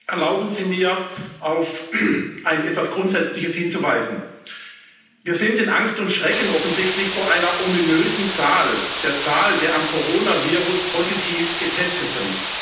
Erlauben Sie mir, auf etwas Grundsätzliches hinzuweisen Wir sind in Angst und Schrecken offensichtlich vor einer ominösen Zahl der Zahl der am Coronavirus positiv Getesteten.